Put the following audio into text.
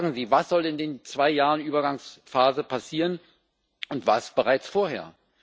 Sagen Sie, was in den zwei Jahren Übergangsphase passieren soll und was bereits vorher!